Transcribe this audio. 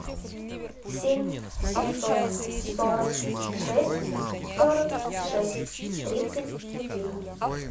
семь семьсот сорок шесть сорок шесть тридцать один